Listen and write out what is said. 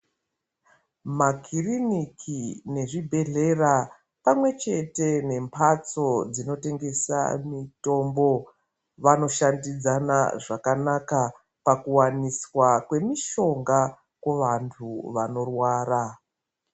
Makiriniki nezvibhedhlera pamwechete nemhatso dzinotengesa mitombo, vanoshandidzana zvakanaka pakuwaniswa kwemishonga kuvantu vanorwara.